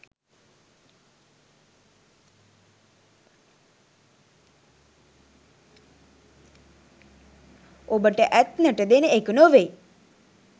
ඔබට ඇත්නට දෙනඑක නොවෙයි